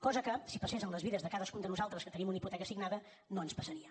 cosa que si passés en les vides de cadascun de nosaltres que tenim una hipoteca signada no ens passaria